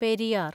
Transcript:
Periyar